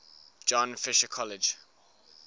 john fisher college